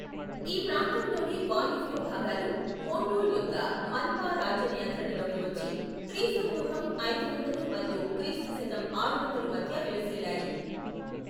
ఈ ప్రాంతంలోని వాయువ్య భాగాలు మోన్యుల్ యొక్క మన్పా రాజ్య నియంత్రణలోకి వచ్చి, క్రీస్తు పూర్వం ఐదు వందలు మరియు క్రీస్తు శకం ఆరు వందలు మధ్య విలసిల్లాయి.